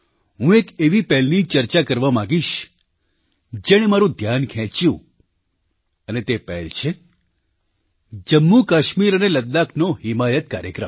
હું એક એવી પહેલની ચર્ચા કરવા માગીશ જેણે મારું ધ્યાન ખેંચ્યું અને તે પહેલ છે જમ્મુકાશ્મીર અને લદ્દાખનો હિમાયત કાર્યક્રમ